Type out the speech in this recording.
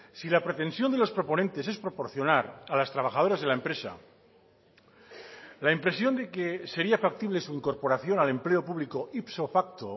si la pretensión de los proponentes es proporcionar a las trabajadoras de la empresa la impresión de que sería factible su incorporación al empleo público ipso facto